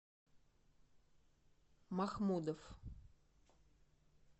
махмудов